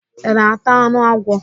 Ị na-ata anụ agwọ?